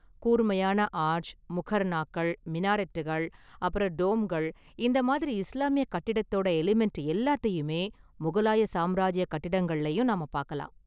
கூர்மையான ஆர்ச், முகர்ணாக்கள், மினாரெட்டுகள், அப்பறம் டோம்கள் இந்த மாதிரி இஸ்லாமிய கட்டிடத்தோட எலிமெண்ட் எல்லாத்தையுமே முகலாய சாம்ராஜிய கட்டிடங்களிலும் நாம பார்க்கலாம்.